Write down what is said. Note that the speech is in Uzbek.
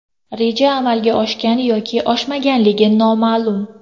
Reja amalga oshgan yoki oshmaganligi noma’lum.